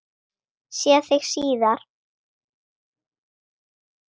Sé þig síðar.